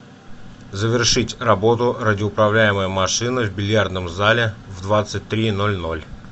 завершить работу радиоуправляемая машина в бильярдном зале в двадцать три ноль ноль